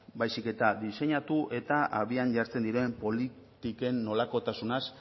baizik eta diseinatu eta abian jartzen diren politiken nolakotasunaz